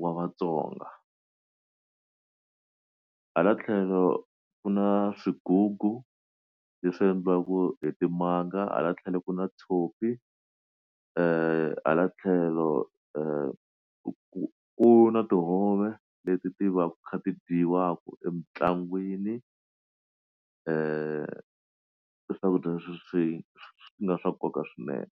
wa vatsonga hala tlhelo kuna swigugu leswi endliwaku hi timanga hala tlhelo ku na tshopi hala tlhelo ku ku na tihove leti ti va ti kha ti dyiwaka emitlangwini swakudya leswi nga swa nkoka swinene.